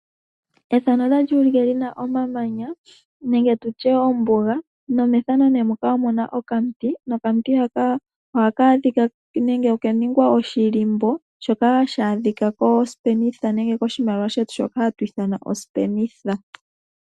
Moombuga omuna iinima oyindji ngaashi omamanya, niishwa oyindji. Omiti ina dhi udhamo unene.